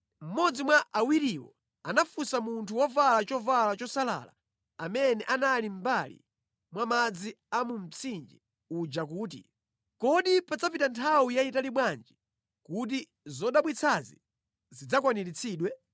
Mmodzi mwa awiriwo anafunsa munthu wovala chovala chosalala amene anali mʼmbali mwa madzi a mu mtsinje uja kuti, “Kodi padzapita nthawi yayitali bwanji kuti zodabwitsazi zidzakwaniritsidwe?”